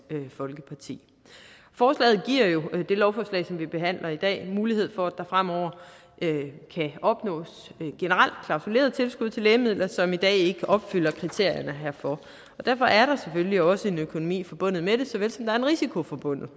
folkeparti forslaget giver jo med det lovforslag som vi behandler i dag mulighed for at der fremover kan opnås generelt klausuleret tilskud til lægemidler som i dag ikke opfylder kriterierne herfor derfor er der selvfølgelig også en økonomi forbundet med det såvel som der er en risiko forbundet